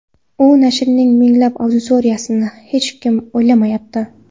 U nashrning minglab auditoriyasini hech kim o‘ylamayapti”.